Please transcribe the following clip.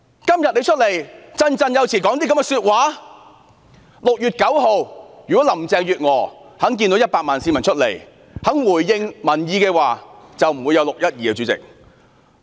主席，如果林鄭月娥在6月9日看到有100萬名市民上街後肯回應民意，便不會有"六一二"事件。